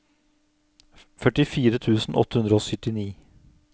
førtifire tusen åtte hundre og syttini